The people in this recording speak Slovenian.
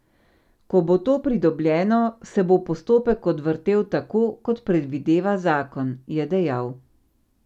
Ko bo to pridobljeno, se bo postopek odvrtel tako, kot predvideva zakon, je dejal.